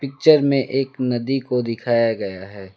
Picture में एक नदी को दिखाया गया है।